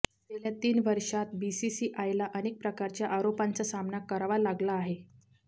गेल्या तीन वर्षांत बीसीसीआयला अनेक प्रकारच्या आरोपांचा सामना करावा लागला आहे